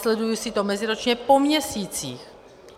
Sleduji si to meziročně po měsících.